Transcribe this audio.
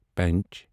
پنچ